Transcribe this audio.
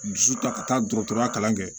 Dusu ta ka taa dɔgɔtɔrɔya kalan kɛ